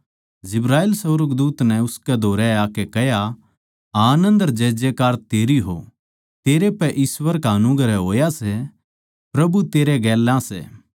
जिब्राईल सुर्गदूत नै उसके धोरै आकै कह्या आनन्द अर जयजयकार तेरी हो तेरै पै ईश्‍वर का अनुग्रह होया सै प्रभु तेरै गेल्या सै